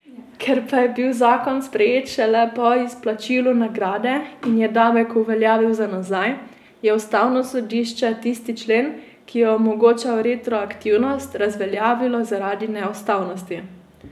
Ker pa je bil zakon sprejet šele po izplačilu nagrade in je davek uveljavil za nazaj, je ustavno sodišče tisti člen, ki je omogočal retroaktivnost, razveljavilo zaradi neustavnosti.